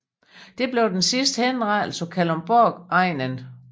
Det blev den sidste henrettelse på Kalundborgegnen